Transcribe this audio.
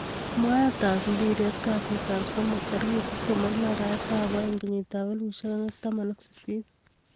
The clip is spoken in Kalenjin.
mwaet ap mpiret Kasit ap somok 26.02.2018